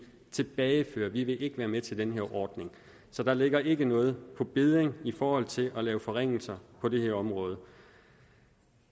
tilbageføre vi vil ikke være med til den her ordning så der ligger ikke noget på bedding i forhold til at lave forringelser på det her område